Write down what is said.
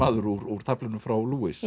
úr taflinu frá